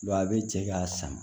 a bɛ cɛ k'a sama